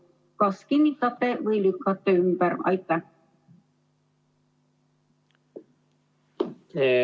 Kas kinnitate või lükkate ümber?